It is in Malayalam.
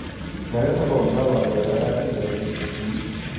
നഗരസഭ ഒന്നാം വാർഡ്‌ വരവനാട്ട് നികര്‍ത്തില്‍ വി